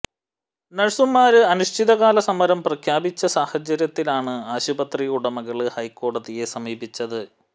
നഴ്സുമാര് അനിശ്ചിത കാല സമരം പ്രഖ്യാപിച്ച സാഹചര്യത്തിലാണ് ആശുപത്രി ഉടമകള് ഹൈക്കോടതിയെ സമീപിച്ചത്